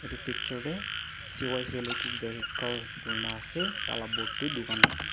itu picture tey C_Y_C electric vehicle kurina ase taila board toh dukan--